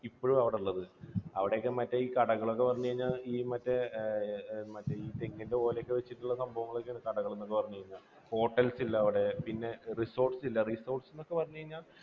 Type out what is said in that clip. ഇപ്പോഴും അവിടെയുള്ളത്. അവിടെയൊക്കെ മറ്റേ ഈ കഥകളൊക്കെ എന്ന് പറഞ്ഞു കഴിഞ്ഞാൽ ഈ മറ്റേ ഈ തെങ്ങിൻറെ ഓല വെച്ചിട്ടുള്ള സംഭവങ്ങളാണ് കടകൾ ഒക്കെ എന്ന് പറഞ്ഞു കഴിഞ്ഞാൽ. hotels ഇല്ല അവിടെ. resorts ഇല്ല. resorts എന്നൊക്കെ പറഞ്ഞു കഴിഞ്ഞാൽ